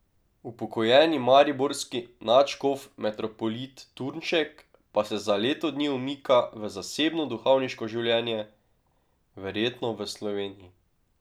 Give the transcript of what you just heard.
Upokojeni mariborski nadškof metropolit Turnšek pa se za leto dni umika v zasebno duhovniško življenje, verjetno v Sloveniji.